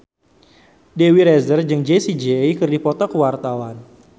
Dewi Rezer jeung Jessie J keur dipoto ku wartawan